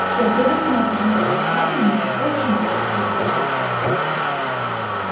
всё предусмотрено по крайней мере должно быть предусмотрено